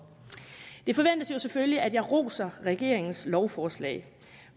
det forventes jo selvfølgelig at jeg roser regeringens lovforslag